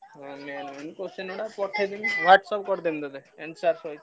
ଆଉ main main question ଟା ପଠେଇଦେବି WhatsApp କରିଦେବି ତତେ